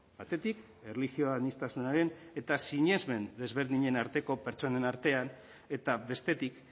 batetik erlijio aniztasunaren eta sinesmen desberdinen arteko pertsonen artean eta bestetik